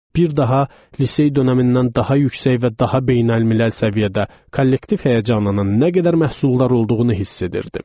Bir daha lisey dövründən daha yüksək və daha beynəlmiləl səviyyədə kollektiv həyəcanının nə qədər məhsuldar olduğunu hiss edirdim.